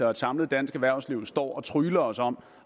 og et samlet dansk erhvervsliv står og trygler os om